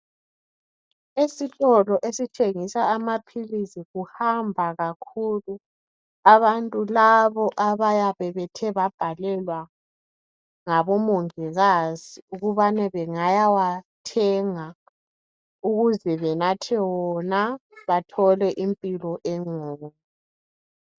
Esitolo esithengisa amaphilisi, kuhamba kakhulu abantu labo abayabe bethe babhalelwa ngabomongikazi ukubana bengayawathenga, ukuze benathe wona.. Bathole impilo engcono.